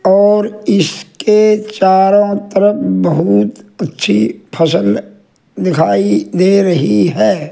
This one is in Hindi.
और इसके चारों तरफ बहुत अच्छी फसल दिखाई दे रही है।